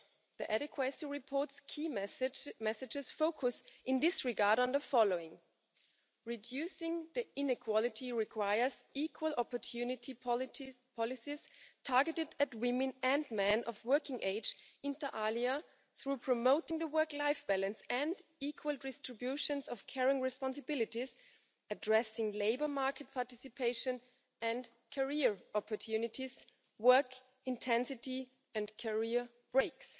The Adequacy Report's key messages focus in this regard on the following reducing the inequality requires equal opportunity policies targeted at women and men of working age, inter alia through promoting the work life balance and equal distributions of caring responsibilities and addressing labour market participation and career opportunities, work intensity and career breaks.